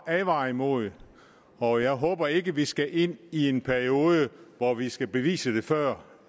advare imod og jeg håber ikke at vi skal ind i en periode hvor vi skal bevise det før